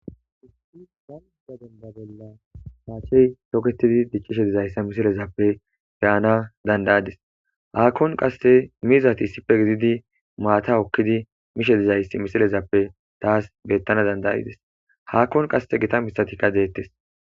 isi gan miza dendabella paachey shoketidi diccishe dizayssa misilezappe perana dandayades haakkon qasse mizati issife gididi maata okkidi mishe dizayss misilezappe taas bettana dandayides haakkon qasse gita miththatikka deettes